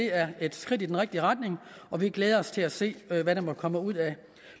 er et skridt i den rigtige retning og vi glæder os til at se hvad hvad der måtte komme ud af